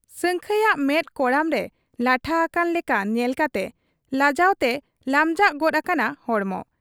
ᱥᱟᱹᱝᱠᱷᱟᱹᱭᱟᱜ ᱢᱮᱫ ᱠᱚᱲᱟᱢ ᱨᱮ ᱞᱟᱴᱷᱟ ᱦᱟᱠᱟᱱ ᱞᱮᱠᱟ ᱧᱮᱞ ᱠᱟᱛᱮ ᱞᱟᱡᱟᱣᱛᱮ ᱞᱟᱢᱡᱟᱜ ᱜᱚᱫ ᱟᱠᱟᱱᱟ ᱦᱚᱲᱢᱚ ᱾